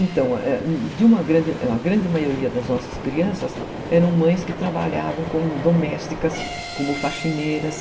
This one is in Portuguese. Então, é, a grande maioria das nossas crianças eram de mães que trabalhavam como domésticas, como faxineiras.